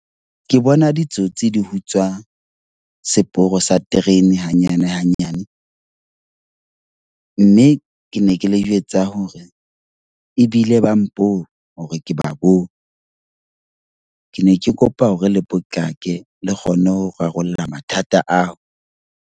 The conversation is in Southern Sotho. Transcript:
Ke bona ditsotsi di utswa seporo sa terene hanyane hanyane. Mme ke ne ke le jwetsa hore ebile ba mpone hore ke ba boo . Ke ne ke kopa hore le potlake. Le kgonne ho rarolla mathata ao.